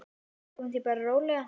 Tökum því bara rólega.